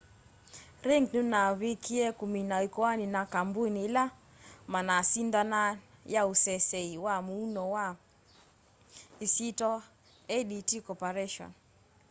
ring nunavikiie kumina ikoani na kambuni ila manasindanaa ya useseei wa muuo kwa isyitwa adt corporation